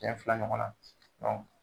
Cɛ fila ɲɔgɔnna